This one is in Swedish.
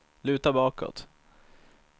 luta bakåt